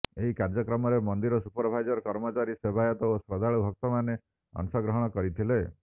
ଏହି କାର୍ଯ୍ୟକ୍ରମରେ ମନ୍ଦିର ସୁପଭାଇଜର କର୍ମଚାରୀ ସେବାୟତ ଓ ଶ୍ରଦ୍ଧାଳୁ ଭକ୍ତମାନେ ଅଂଶଗ୍ରହଣ କରିଥିଲେ